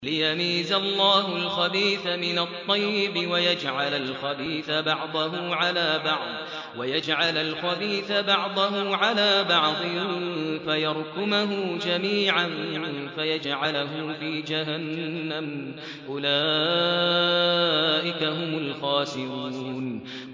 لِيَمِيزَ اللَّهُ الْخَبِيثَ مِنَ الطَّيِّبِ وَيَجْعَلَ الْخَبِيثَ بَعْضَهُ عَلَىٰ بَعْضٍ فَيَرْكُمَهُ جَمِيعًا فَيَجْعَلَهُ فِي جَهَنَّمَ ۚ أُولَٰئِكَ هُمُ الْخَاسِرُونَ